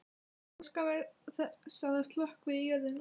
Óska mér þess að það sökkvi í jörðina.